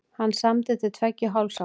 Hann samdi til tveggja og hálfs árs.